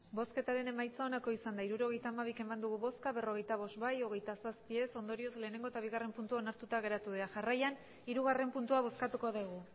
hirurogeita hamabi eman dugu bozka berrogeita bost bai hogeita zazpi ez ondorioz lehengo eta bigarren puntua onartuta geratu dira jarraian hirugarren puntua bozkatuko dugu